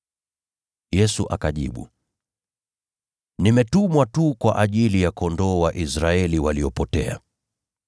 Yesu akajibu, “Nimetumwa tu kwa ajili ya kondoo wa Israeli waliopotea.”